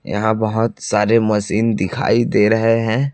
यहां बहोत सारे मशीन दिखाई दे रहे है।